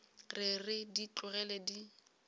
re re di tlogele di